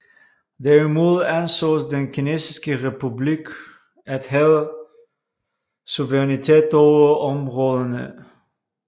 Derimod ansås den kinesiske republik at have suverænitet over områderne